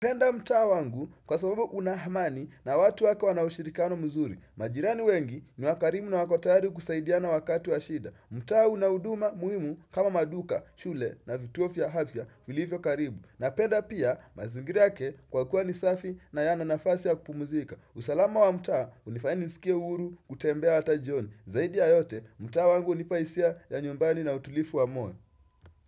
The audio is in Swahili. Napenda mtaa wangu kwa sababu una amani na watu wako wana ushirikano mzuri. Majirani wengi ni wakarimu na wako tayari kusaidiana wakati wa shida. Mtaa una huduma muhimu kama maduka, shule na vituo vya afya, vilivyo karibu. Napenda pia mazingira yake kwa kuwa ni safi na yana nafasi ya kupumuzika. Usalama wa mtaa hunifanya nisikie huru kutembea hata jioni. Zaidi ya yote, mtaa wangu hunipa hisia ya nyumbani na utulivu wa moyo.